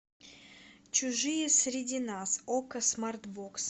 чужие среди нас окко смарт бокс